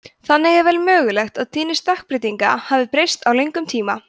þannig er vel mögulegt að tíðni stökkbreytinga hafi breyst á löngum tíma